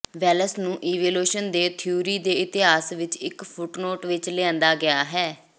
Wales ਨੂੰ evolution ਦੇ theory ਦੇ ਇਤਿਹਾਸ ਵਿਚ ਇਕ ਫੁਟਨੋਟ ਵਿਚ ਲਿਆਂਦਾ ਗਿਆ ਹੈ